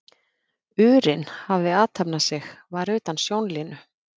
urinn hafði athafnað sig var utan sjónlínu.